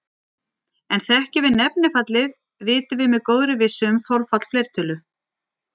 En þekkjum við nefnifallið vitum við með góðri vissu um þolfall fleirtölu.